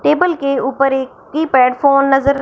table के ऊपर एक कीपैड फोन नजर--